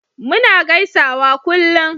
muna gaisawa kullum